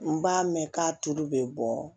N b'a mɛn k'a tulu bɛ bɔ